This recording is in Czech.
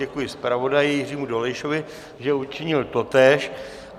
Děkuji zpravodaji Jiřímu Dolejšovi, že učinil totéž.